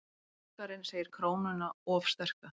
Borgarinn segir krónuna of sterka